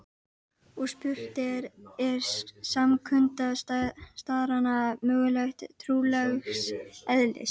Og spurt er: er samkunda starrana mögulega trúarlegs eðlis?